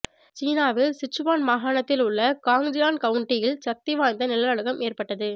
சீனாவின் சிச்சுவான் மாகாணத்தில் உள்ள காங்ஜியான் கவுண்டியில் சக்தி வாய்ந்த நிலநடுக்கம் ஏற்பட்டது